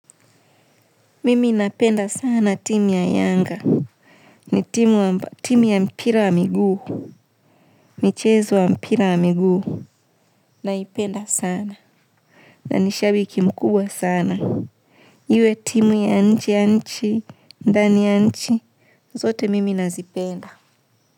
Mimi napenda sana timu ya Yanga. Ni timu ya mpira wa miguu. Michezo ya mpira wa miguu naipenda sana. Na ni shabiki mkubwa sana. Iwe timu ya nje ya nchi, ndani ya nchi, zote mimi nazipenda.